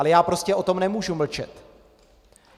Ale já prostě o tom nemůžu mlčet.